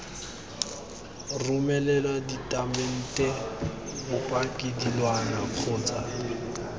romela ditatamente bopaki dilwana kgotsa